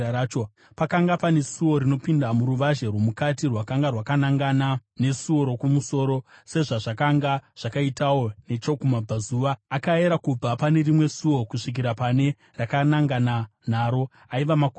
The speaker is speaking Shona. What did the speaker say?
Pakanga pane suo rinopinda muruvazhe rwomukati rakanga rakanangana nesuo rokumusoro, sezvazvakanga zvakaitawo nechokumabvazuva. Akayera kubva pane rimwe suo kusvikira pane rakanangana naro; aiva makubhiti zana.